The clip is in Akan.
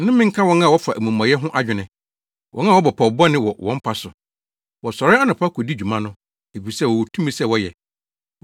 Nnome nka wɔn a wɔfa amumɔyɛ ho adwene, wɔn a wɔbɔ pɔw bɔne wɔ wɔn mpa so! Wɔsɔre anɔpa kodi dwuma no, efisɛ wɔwɔ tumi sɛ wɔyɛ.